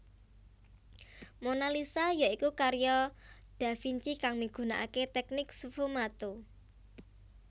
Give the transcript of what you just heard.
Monalisa ya iku karya da Vinci kang migunakaké teknik sfumato